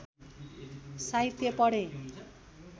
साहित्य पढेँ